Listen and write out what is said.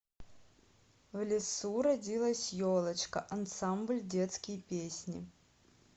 в лесу родилась елочка ансамбль детские песни